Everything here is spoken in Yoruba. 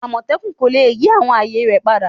Amotekun ko le yi awọn aaye rẹ pada